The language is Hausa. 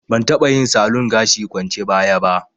Ban taɓa yin salon gashi kwance baya ba